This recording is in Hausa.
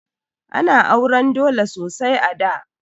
Ana auran dole sosai a da.